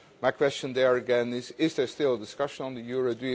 My question there, again, is there still discussion on the euro?